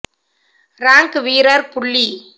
rank வீரர் புள்ளி